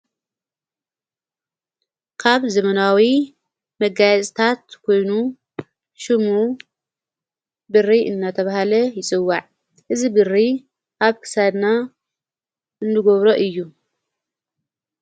ካብ ዘመናዊ መጋያጽታት ኴይኑ ሹሙ ብሪ እናተብሃለ ይጽውዕ እዝ ብሪ ኣብ ክሳድና እንድጐብሮ እዩ።